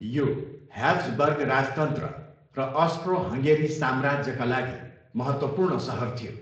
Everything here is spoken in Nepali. यो ह्याब्सबर्ग राजतन्त्र र अस्ट्रो हङ्गेरी साम्राज्यका लागि महत्त्वपूर्ण सहर थियो।